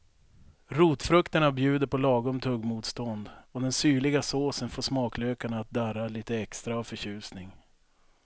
Rotfrukterna bjuder på lagom tuggmotstånd och den syrliga såsen får smaklökarna att darra lite extra av förtjusning.